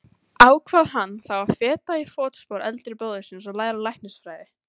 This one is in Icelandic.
Ákvað hann þá að feta í fótspor eldri bróður síns og læra læknisfræði.